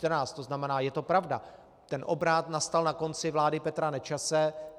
To znamená, je to pravda, ten obrat nastal na konci vlády Petra Nečase.